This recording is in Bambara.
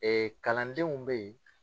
kalandenw bɛ yen.